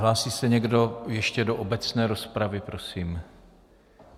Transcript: Hlásí se někdo ještě do obecné rozpravy, prosím?